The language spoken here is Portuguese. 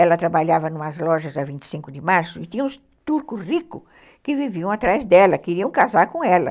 Ela trabalhava em umas lojas da vinte e cinco de março e tinha uns turcos ricos que viviam atrás dela, queriam casar com ela.